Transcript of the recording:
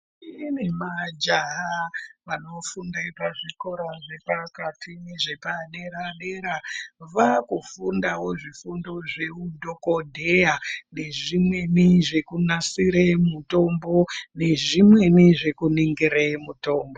Kune majaha vanofunde pazvikora zvepakati nezvepaderadera vakufundawo zvifundo zveudhokodheya nezvimweni zvekunasire mutombo nezvimweni zvekuningire mutombo.